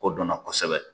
Ko dɔnna kosɛbɛ